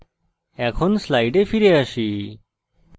এখন slides ফিরে আসি